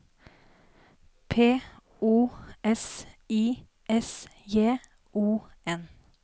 P O S I S J O N